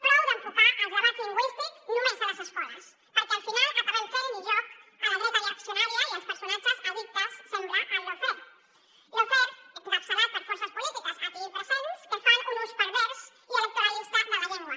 prou d’enfocar els debats lingüístics només a les escoles perquè al final acabem fent li joc a la dreta reaccionària i als personatges addictes sembla al lawfare fare encapçalat per forces polítiques aquí presents que fan un ús pervers i electoralista de la llengua